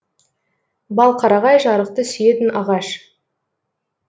балқарағай жарықты сүйетін ағаш